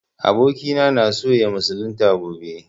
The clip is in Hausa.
Abokina na so ya musulunta gobe